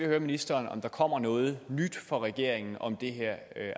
høre ministeren om der kommer noget nyt fra regeringen om det her